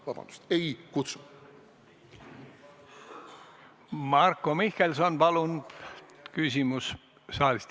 Marko Mihkelson, palun!